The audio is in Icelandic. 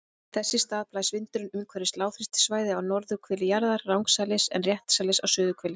Þess í stað blæs vindurinn umhverfis lágþrýstisvæði á norðurhveli jarðar rangsælis en réttsælis á suðurhveli.